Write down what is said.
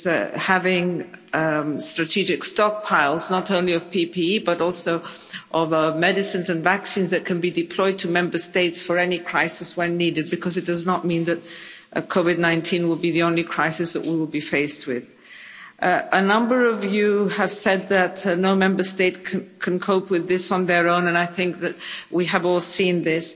we have strategic stockpiles not only of PPE but also of medicines and vaccines that can be deployed to Member States for any crisis when needed, because it does not mean that COVID 19 will be the only crisis that we will be faced with. A number of you have said that no Member State can cope with this on their own, and I think that we have all seen this.